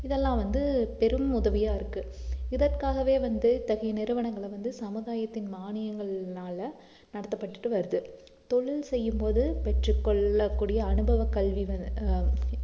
இதெல்லாம் வந்து பெரும் உதவியா இருக்கு இதற்காகவே வந்து இத்தகைய நிறுவனங்கள வந்து சமுதாயத்தின் மானியங்கள்னால நடத்தப்பட்டுட்டு வருது தொழில் செய்யும்போது பெற்றுக் கொள்ளக் கூடிய அனுபவக் கல்வி வ~ ஆஹ்